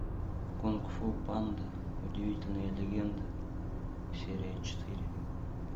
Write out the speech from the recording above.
кунг фу панда удивительные легенды серия четыре